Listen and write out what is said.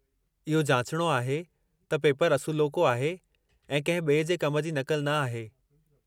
इहो जाचणो आहे त पेपरु असुलोको आहे ऐं कंहिं ॿिए जे कम जी नक़ल न आहे।